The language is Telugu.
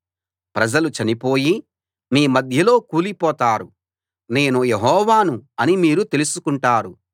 ప్రజలు చనిపోయి మీ మధ్యలో కూలిపోతారు నేను యెహోవాను అని మీరు తెలుసుకుంటారు